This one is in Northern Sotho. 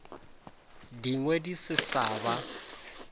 dingwe di se sa ba